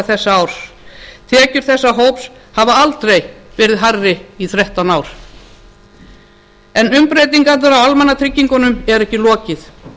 þessa árs tekjur þessa hóps hafa aldrei verið hærri í þrettán ár umbreytingunum á almannatryggingunum er ekki lokið